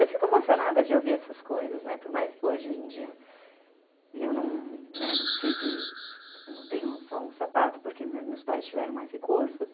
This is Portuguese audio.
Eu fico emocionada de ouvir essas coisas, né, por mais que hoje em dia eu não precise, não tenha só um sapato, porque meus pais tiveram mais recursos.